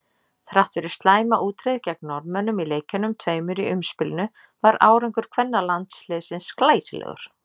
Þrátt fyrir slæma útreið gegn Norðmönnum í leikjunum tveimur í umspilinu var árangur kvennalandsliðsins glæsilegur.